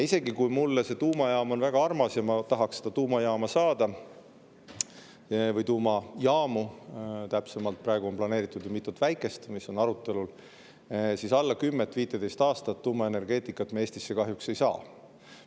Isegi kui mulle see tuumajaam on väga armas ja ma tahaks seda tuumajaama või tuumajaamu, täpsemalt, saada – praegu on planeeritud mitu väikest, mis on arutelul –, siis kahjuks ei saa me tuumaenergeetikat Eestisse enne kui 10–15 aasta pärast.